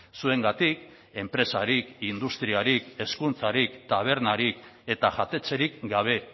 zuengatik enpresarik industriarik hezkuntzarik tabernarik eta jatetxerik gabe